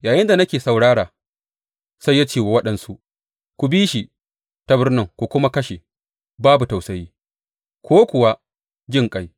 Yayinda nake saurara, sai ya ce wa waɗansu, Ku bi shi ta birnin ku kuma kashe, babu tausayi ko kuwa jinƙai.